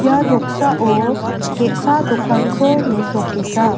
ia noksao ge·sa dokanko mesokenga.